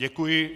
Děkuji.